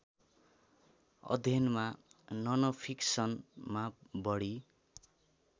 अध्ययनमा ननफिक्सनमा बढी